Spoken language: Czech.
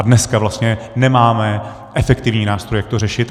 A dneska vlastně nemáme efektivní nástroj, jak to řešit.